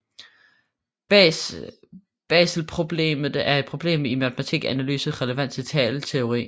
Baselproblemet er et problem i matematisk analyse relevant til talteori